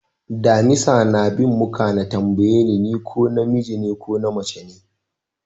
Damisa na bin mu ka na tambaye ni ko na miji ko mace ne?